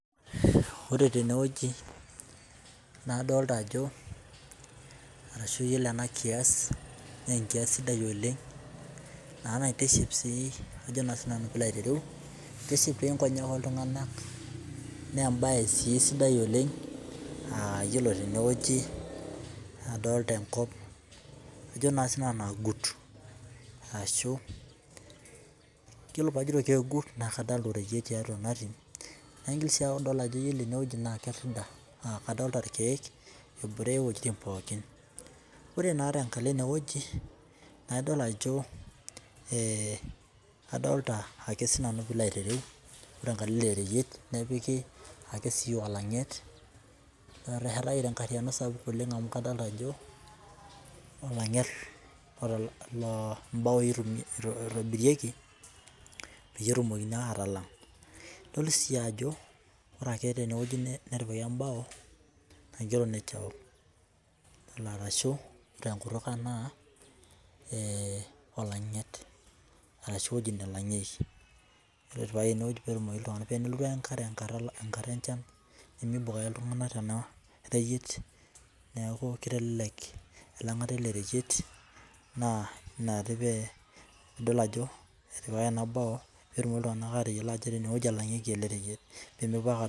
Ore tenewueji nadolta ajo arashu iyolo enakias na enkias sidai oleng na naitiship na pilo ayiolou kitiship nkonyek oltunganak na embae sidai oleng na yiolo tenewueji nadolta enkop ajobna sinanu naagut ashu yiolo paajito keagut na kadolta ireyiet tiatua enatim naigil si adol ajo ore ene na kerida na ketii irkiek ebore wuejitin pookin ore naa tenkalo enewueji na idol ajo adolta ake pilo ayiolou elereyiet nepiki olanget oteshetaki ajo olanget lombaoi itobirieki petumoki atalang idol si ajo ore tenewueji natipa embao nakigero nature walk arashu tenkutuk aang na olanget arashu ewoi nalangieki tenelotu enkare nimibok ake ltunganak tenareyiet neaku kitelelek oreyiet na idol ajo ore enabe petumoki ltunganak atayilo qjo enewueji elangieki ele reyiet